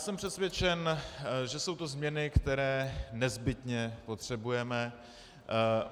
Jsem přesvědčen, že jsou to změny, které nezbytně potřebujeme.